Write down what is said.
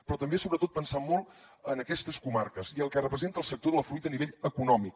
però també sobretot pensant molt en aquestes comarques i el que representa el sector de la fruita a nivell econòmic